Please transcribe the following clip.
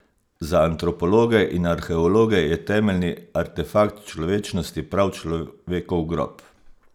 Za antropologe in arheologe je temeljni artefakt človečnosti prav človekov grob.